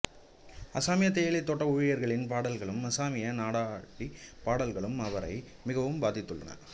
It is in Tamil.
அஸாமிய தேயிலைத் தோட்ட ஊழியர்களின் பாடல்களும் அஸாமிய நாடோடிப் பாடல்களும் அவரை மிகவும் பாதித்துள்ளன